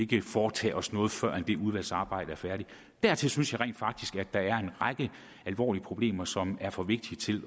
kan foretage os noget før det udvalgsarbejde er færdigt dertil synes jeg rent faktisk at der er en række alvorlige problemer som er for vigtige til